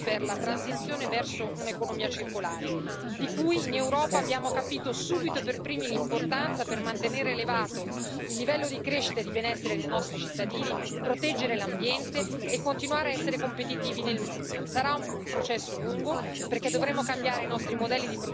Insomma, oggi facciamo un passo importante avanti per la transizione verso un'economia circolare, di cui in Europa abbiamo capito subito e per primi l'importanza per mantenere elevato il livello di crescita e di benessere dei nostri cittadini, proteggere l'ambiente e continuare a essere competitivi nel mondo.